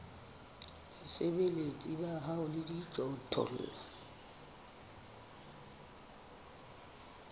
basebeletsi ba hao le dijothollo